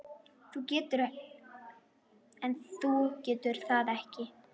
En þú getur það ekki.